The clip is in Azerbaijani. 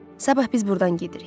Sabah biz buradan gedirik.